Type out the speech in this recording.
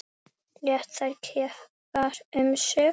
Lét þær keppa um sig.